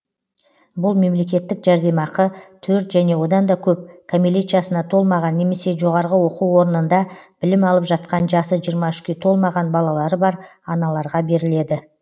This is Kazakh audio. бұл мемлекеттік жәрдемақы төрт және одан да көп кәмелет жасына толмаған немесе жөғарғы оқу орындарында білім алып жатқан жасы жиырма үшке толмаған балалары бар аналарға беріледі